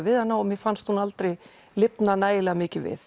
við hana og mér fannst hún aldrei lifna nægjanlega mikið við